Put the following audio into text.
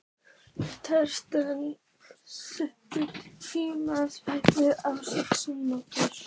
Thea, stilltu tímamælinn á sextíu mínútur.